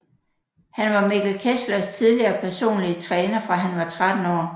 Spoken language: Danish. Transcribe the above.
Han var Mikkel Kesslers tidligere personlige træner fra han var 13 år